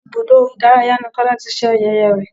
Ibùdó ìdárayá ni kola ti ṣe ayẹyẹ rẹ̀